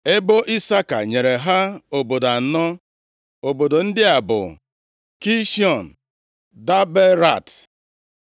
Ebo Isaka nyere ha obodo anọ. Obodo ndị a bụ, Kishiọn, Daberat,